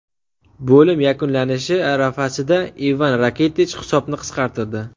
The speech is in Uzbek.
Bo‘lim yakunlanishi arafasida Ivan Rakitich hisobni qisqartirdi.